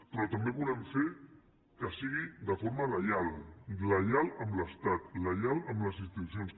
però també volem fer que sigui de forma lleial lleial amb l’estat lleial amb les institucions